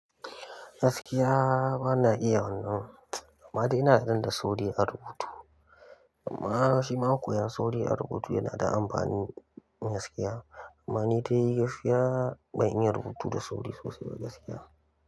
Gaskiya bana iya wannan. Amma dai ina tunanin da sauri a rubutu. Amma shima koyan sauri a rubutu yana da amfani gaskiya. Amma ni dai gaskiya ban iya rubutu da sauri sosai ba gaskiya.